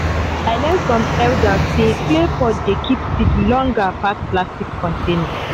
i learn from elders say clay pot dey keep seed longer pass plastic container.